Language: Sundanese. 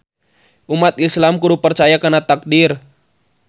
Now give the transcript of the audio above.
Umat Islam kudu percaya kana taqdir